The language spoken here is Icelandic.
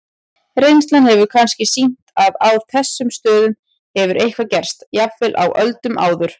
Reynslan hefur kannski sýnt að á þessum stöðum hefur eitthvað gerst, jafnvel á öldum áður.